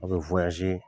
A bɛ